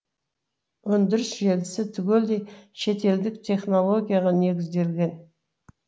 өндіріс желісі түгелдей шетелдік технологияға негізделген